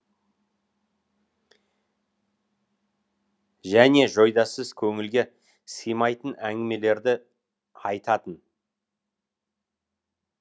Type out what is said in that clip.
және жойдасыз көңілге сыймайтын әңгімелерді айтатын